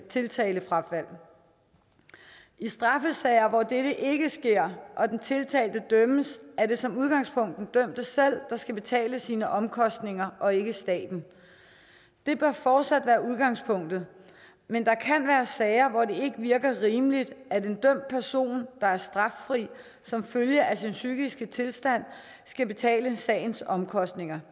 tiltalefrafald i straffesager hvor dette ikke sker og den tiltalte dømmes er det som udgangspunkt den dømte selv der skal betale sine omkostninger og ikke staten det bør fortsat være udgangspunktet men der kan være sager hvor det ikke virker rimeligt at en dømt person der er straffri som følge af sin psykiske tilstand skal betale sagens omkostninger